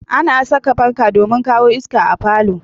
Ana saka fanka domin kawo iska a falo